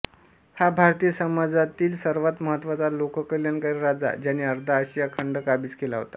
हा भारतीय समाजातील सर्वात महत्वाचा लोककल्याणकारी राजा ज्याने अर्धा आशिया खंड काबीज केला होता